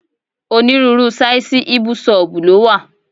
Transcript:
Onírúurú sáìsì ibusub ló wà.